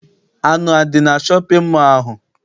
Anụ adị na shọpịn mọọ ahụ?